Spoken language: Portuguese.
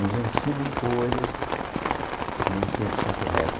Nos ensinam coisas que nem sempre são corretas.